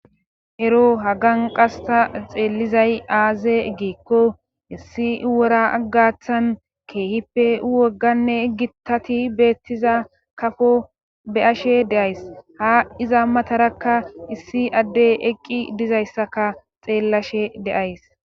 Ero haganqasta xeellizay aaze giikko issi wora aggaththan keehippe wogganne egitati beettiza kafo be ashe deays ha iza matarakka issi addey eqqi dizayssaka xeellashe deays